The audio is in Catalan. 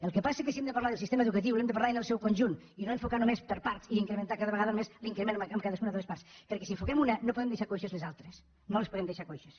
el que passa és que si hem de parlar de sistema educatiu n’hem de parlar en el seu conjunt i no enfocar només per parts i incrementar cada vegada només l’increment en cadascuna de les parts perquè si n’enfoquem una no podem deixar coixes les altres no les podem deixar coixes